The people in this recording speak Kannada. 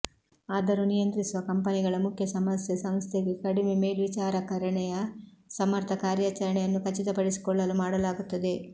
ಆದರೂ ನಿಯಂತ್ರಿಸುವ ಕಂಪನಿಗಳ ಮುಖ್ಯ ಸಮಸ್ಯೆ ಸಂಸ್ಥೆಗೆ ಕಡಿಮೆ ಮೇಲ್ವಿಚಾರಕರಣೆಯ ಸಮರ್ಥ ಕಾರ್ಯಾಚರಣೆಯನ್ನು ಖಚಿತಪಡಿಸಿಕೊಳ್ಳಲು ಮಾಡಲಾಗುತ್ತದೆ